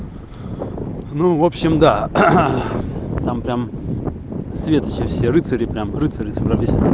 ну в общем да там прям свет ещё все рыцари прям рыцари собрались